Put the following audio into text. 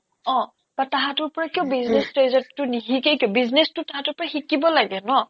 অ বা তাহাতৰ পৰা কিয় business ট্ৰেজেডিটো নিশিকে কি business টো তাহাতৰ পৰা শিকিব লাগে ন